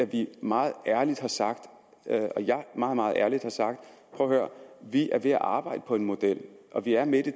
vi meget ærligt har sagt og jeg meget meget ærligt har sagt prøv at høre vi er ved at arbejde på en model og vi er midt i